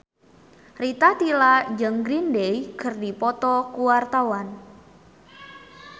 Rita Tila jeung Green Day keur dipoto ku wartawan